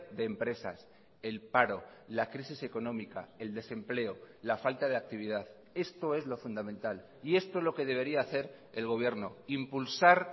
de empresas el paro la crisis económica el desempleo la falta de actividad esto es lo fundamental y esto es lo que debería hacer el gobierno impulsar